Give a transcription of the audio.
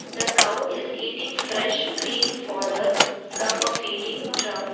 the cow is eating fresh green fodder from a feeding trough.